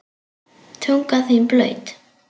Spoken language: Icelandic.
Tunga þín blaut.